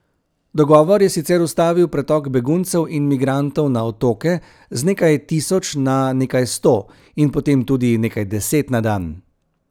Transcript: Dogovor je sicer ustavil pretok beguncev in migrantov na otoke z nekaj tisoč na nekaj sto in potem tudi nekaj deset na dan.